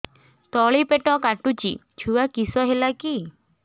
ତଳିପେଟ କାଟୁଚି ଛୁଆ କିଶ ହେଲା କି